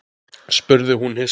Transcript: spurði hún hissa.